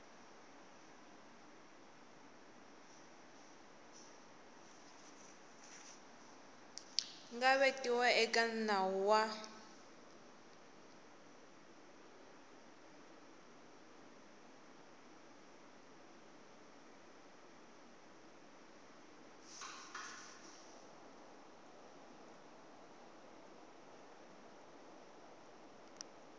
nga vekiwa eka nawu wa